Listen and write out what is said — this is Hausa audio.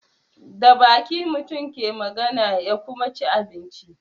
Da baki mutum ke magana ya kuma ci abinci.